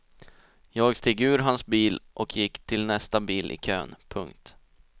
Jag steg ur hans bil och gick till nästa bil i kön. punkt